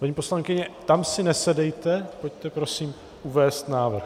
Paní poslankyně, tam si nesedejte, pojďte prosím uvést návrh.